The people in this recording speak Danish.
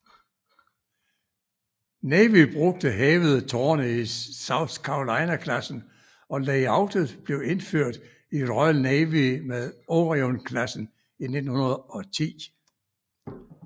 Navy brugte hævede tårne i South Carolina klassen og layoutet blev indført i Royal Navy med Orion klassen i 1910